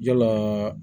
Yalaa